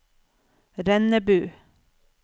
Rennebu